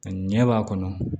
Ɲɛ b'a kɔnɔ